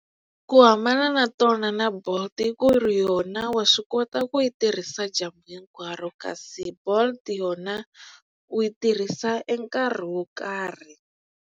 Ku hambana na tona na Bolt i ku ri yona wa swi kota ku yi tirhisa dyambu hinkwaro kasi Bolt yona u yi tirhisa e nkarhi wo karhi.